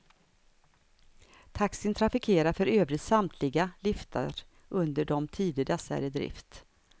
Taxin trafikerar för övrigt samtliga liftar under de tider dessa är i drift.